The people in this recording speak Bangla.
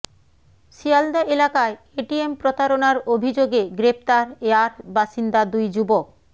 শিয়ালদা এলাকায় এটিএম প্রতারণার অভিযোগে গ্রেফতার য়ার বাসিন্দা দুই যুবক